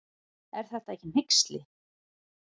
Er þetta ekki hneyksli.